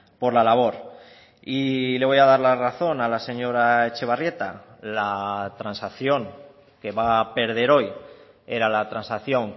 por la labor y le voy a dar la razón a la señora etxebarrieta la transacción que va a perder hoy era la transacción